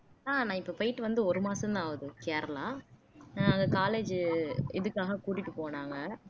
ஆஹ் நான் இப்ப போயிட்டு வந்து ஒரு மாசம்தான் ஆகுது கேரளா ஆஹ் நாங்க college உ இதுக்காக கூட்டிட்டு போனாங்க